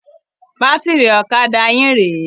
Bátìrì ọ̀kadà yín rè é.